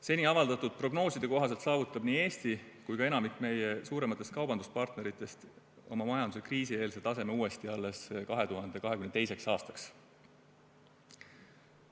Seni avaldatud prognooside kohaselt saavutavad nii Eesti kui ka enamik meie suurematest kaubanduspartneritest oma majanduse kriisieelse taseme uuesti alles 2022. aastaks.